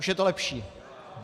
Už je to lepší.